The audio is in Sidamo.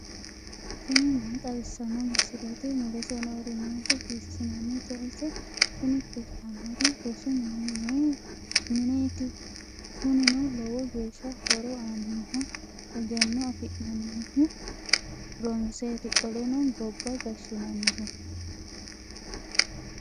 tini maa xawissanno misileeti ? mulese noori maati ? hiissinannite ise ? tini kultannori rosu mineeti kunino lowo geeshsha horo aannoho egenno afi'nannihu ronseeti qolleno gobba gashshinannihu.